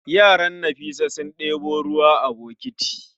Yaran Nafisa sun ɗebo ruwa a bokiti